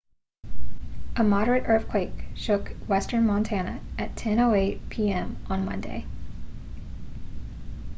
a moderate earthquake shook western montana at 10:08 p.m. on monday